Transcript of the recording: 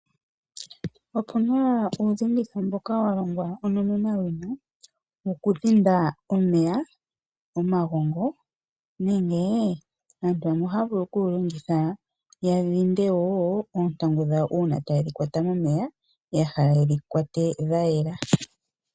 Opuna uudhinditho mboka wa longwa onomenawina , wokudhinda omeya, omagongo nenge, aantu yamwe oha ya vulu okuwulongitha ya dhinde woo oontangu dhawo uuna ta ye dhi kwata momeya ya hala yedhi kwate dhayela.